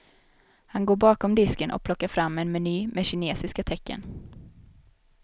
Han går bakom disken och plockar fram en meny med kinesiska tecken.